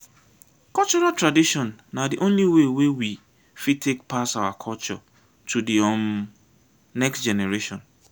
cultural tradition na di only way wey we fit take pass our culture to di um next generation